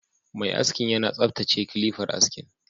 Mai askin yana tsaftace kilifar askin